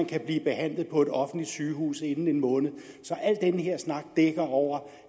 kan blive behandlet på et offentligt sygehus inden en måned så al den her snak dækker over